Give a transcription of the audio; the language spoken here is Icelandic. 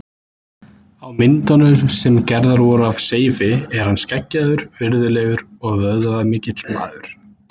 Á myndum sem gerðar voru af Seifi er hann skeggjaður, virðulegur og vöðvamikill maður.